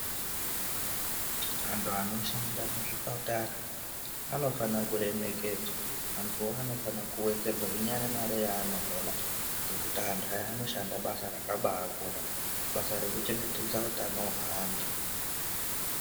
Antu anoshanda muzvipatara anofana kuremekedzwa vantuwo anofana kuwedzerwa inyari mare yavanohola ngekuti antu aya anobashanda basa rakabakura basa rekuchengetedza utano hweantu.